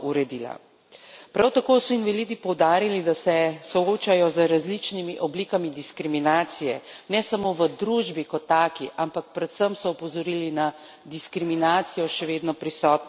Prav tako so invalidi poudarili, da se soočajo z različnimi oblikami diskriminacije, ne samo v družbi kot taki, ampak predvsem so opozorili na diskriminacijo, še vedno prisotno na trgu dela.